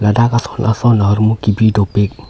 ladak ason ason ahormu kebi dopik.